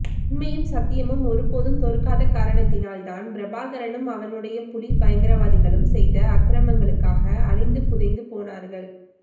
உண்மையும் சத்தியமும் ஒருபோதும் தோற்காத காரணத்தினால் தான் பிரபாகரனும் அவனுடைய புலி பயங்கரவாதிகளும் செய்த அக்கிரமங்களுக்காக அழிந்து புதைந்து போனார்கள்